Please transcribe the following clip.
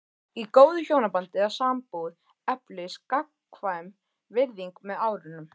Í góðu hjónabandi eða sambúð eflist gagnkvæm virðing með árunum.